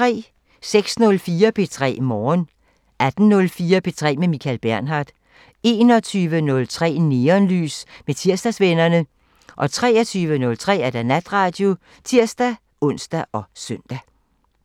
06:04: P3 Morgen 18:04: P3 med Michael Bernhard 21:03: Neonlys med Tirsdagsvennerne 23:03: Natradio (tir-ons og søn)